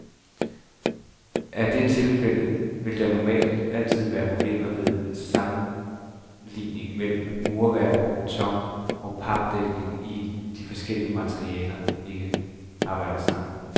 Er det tilfældet, vil der normalt altid være problemer ved samlingen mellem murværk og beton og papdækning, idet de forskellige materialer ikke arbejder sammen.